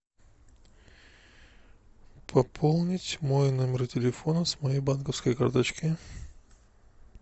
пополнить мой номер телефона с моей банковской карточки